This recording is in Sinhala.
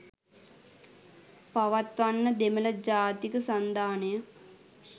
පවත්වන්න දෙමළ ජාතික සන්ධානය